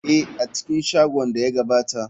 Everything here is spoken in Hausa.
Ee, a cikin shagon da ya gabata.